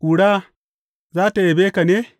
Ƙura za tă yabe ka ne?